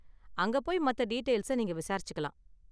அங்க போய் மத்த டீடெயில்ஸ நீங்க விசாரிச்சுக்கலாம்.